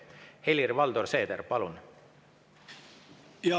Helir-Valdor Seeder, palun!